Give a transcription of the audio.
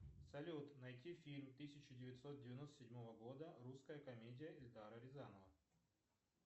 салют найти фильм тысяча девятьсот девяносто седьмого года русская комедия эльдара рязанова